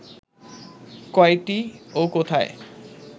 কয়টি ও কোথায়